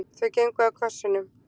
Þau gengu að kössunum.